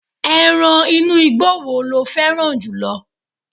eran inú igbó wo lo féràn jùlọ